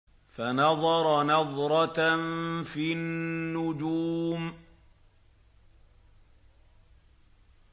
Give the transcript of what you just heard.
فَنَظَرَ نَظْرَةً فِي النُّجُومِ